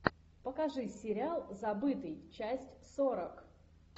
покажи сериал забытый часть сорок